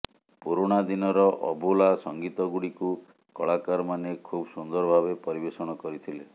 ପୁରୁଣା ଦିନର ଅଭୁଲା ସଙ୍ଗୀତ ଗୁଡିକୁ କଳାକାରମାନେ ଖୁବ୍ ସୁନ୍ଦର ଭାବେ ପରିବେଷଣ କରିଥିଲେ